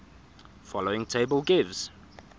following table gives